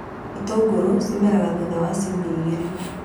Itũngũrũ cimeraga thutha wa ciumia igĩrĩ